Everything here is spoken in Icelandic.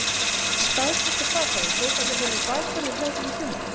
Þú staðfestir það þá að Þórhallur verður bakvörður hjá þér í sumar?